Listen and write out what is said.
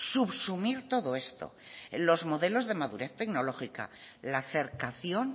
subsumir todo esto los modelos de madurez tecnológica la cercación